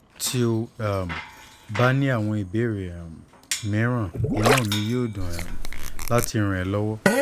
tí o um bá ní àwọn ìbéèrè um mìíràn inú mi yóò dùn um láti ràn ẹ́ lọ́wọ́"